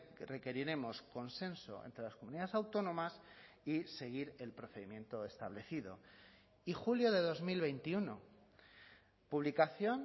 que requeriremos consenso entre las comunidades autónomas y seguir el procedimiento establecido y julio de dos mil veintiuno publicación